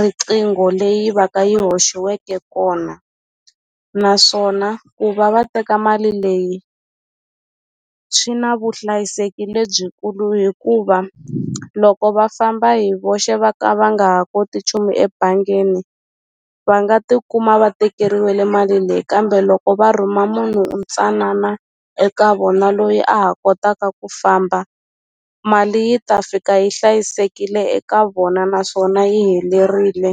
riqingho leyi va ka yi hoxiweke kona naswona ku va va teka mali leyi swi na vuhlayiseki lebyikulu hikuva loko va famba hi voxe va ka va nga ha koti nchumu ebangini va nga tikuma va tekeriwile mali leyi kambe loko va rhuma munhu ntsanana eka vona loyi a ha kotaka ku famba mali yi ta fika yi hlayisekile eka vona naswona yi helerile.